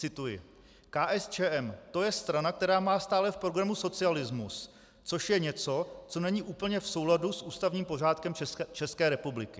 Cituji: "KSČM - to je strana, která má stále v programu socialismus, což je něco, co není úplně v souladu s ústavním pořádkem České republiky."